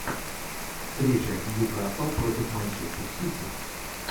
встреча ньюкасл против манчестер сити